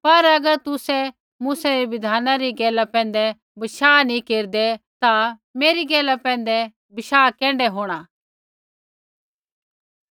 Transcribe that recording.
पर अगर तुसै मूसै री बिधाना री गैला पैंधै बशाह नी केरदै ता मेरी गैला पैंधै बशाह कैण्ढै होंणा